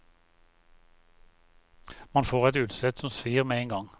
Man får et utslett som svir med en gang.